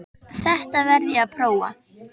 Þetta verð ég að prófa